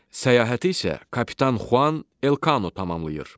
Səyahəti isə kapitan Xuan Elkano tamamlayır.